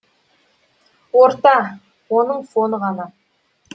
орта оның фоны ғана